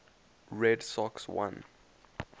red sox won